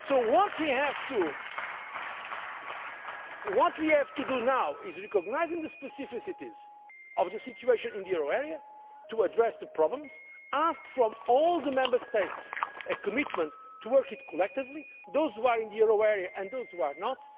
What we have to do now is recognise the specificities of the situation in the euro area, to address the problems and ask all the Member States to give a commitment to work collectively those who are in the euro area and those who are not.